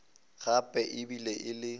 gape e be e le